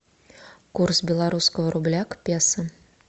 курс белорусского рубля к песо